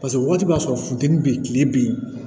Paseke wagati b'a sɔrɔ funteni bɛ yen tile bɛ yen